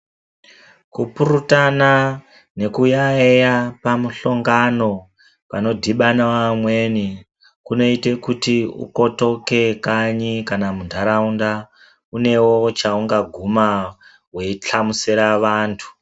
Kupurutana nekuyaeya pamuhlongano panodhibana vamweni ,kunoite kuti ukotoke kanyi kana munharaunda weihlamusera vantu.